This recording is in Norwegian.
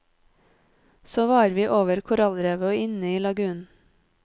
Så var vi over korallrevet og inne i lagunen.